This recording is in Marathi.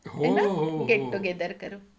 आहे ना? गेट टू गेदर करू.चल बाय.